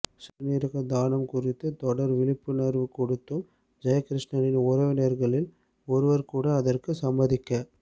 சிறுநீரக தானம் குறித்து தொடர் விழிப்புணர்வு கொடுத்தும் ஜெயகிருஷ்ணனின் உறவினர்களில் ஒருவர்கூட அதற்குச் சம்மதிக்க